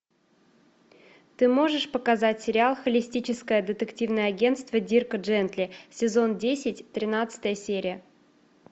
ты можешь показать сериал холистическое детективное агентство дирка джентли сезон десять тринадцатая серия